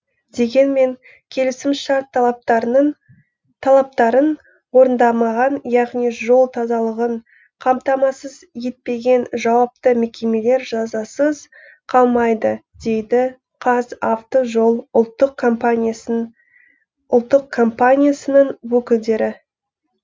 дегенмен келісімшарт талаптарын орындамаған яғни жол тазалығын қамтамасыз етпеген жауапты мекемелер жазасыз қалмайды дейді қазавтожол ұлттық компаниясының өкілдері